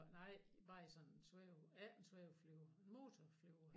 Nej bare i sådan en svæve ikke en svæveflyver motorflyver